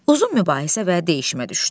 Uzun mübahisə və deyişmə düşdü.